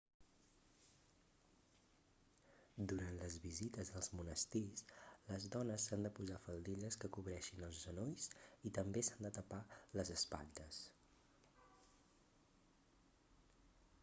durant les visites als monestirs les dones s'han de posar faldilles que cobreixin els genolls i també s'han de tapar les espatlles